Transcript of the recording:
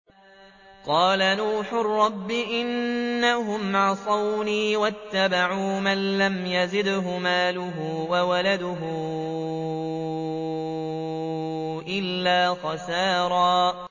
قَالَ نُوحٌ رَّبِّ إِنَّهُمْ عَصَوْنِي وَاتَّبَعُوا مَن لَّمْ يَزِدْهُ مَالُهُ وَوَلَدُهُ إِلَّا خَسَارًا